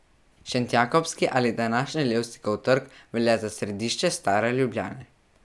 Šentjakobski ali današnji Levstikov trg velja za središče Stare Ljubljane.